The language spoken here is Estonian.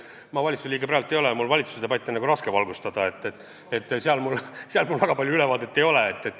Ma valitsuse liige praegu ei ole ja mul on valitsuse debatti raske valgustada, sellest mul väga head ülevaadet ei ole.